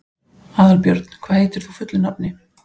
Aðalbjörn, hvað heitir þú fullu nafni?